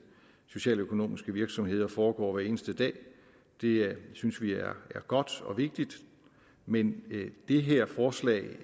socialøkonomiske virksomheder foregår hver eneste dag det synes vi er godt og vigtigt men det her forslag